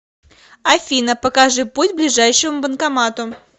афина покажи путь к ближайшему банкомату